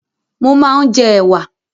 Mó máa ń jẹ ẹ̀wà